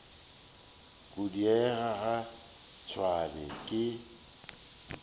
go diega ga tšhwene ke